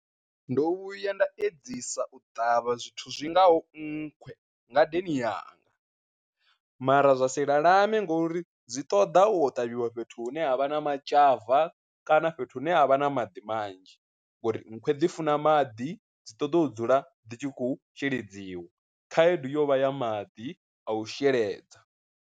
Ndo vhuya nda edzisa u ṱavha zwithu zwi ngaho nkhwe ngadeni yanga, mara zwa si lalame ngori dzi ṱoḓa u kho ṱavhiwa fhethu hune ha vha na matzhava kana fhethu hune a vha na maḓi manzhi ngori nkhwe dziifuna maḓi dzi ṱoḓa u dzula dzi tshi khou sheledziwa, khaedu yo vha ya maḓi a u sheledza.